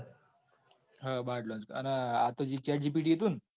હા bard launch કર્યું. અને આ જે chat gpt હતું ન.